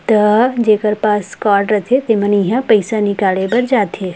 तब जेकर पास कार्ड रथे तर मन इहा पईसा निकाले बर जाथे।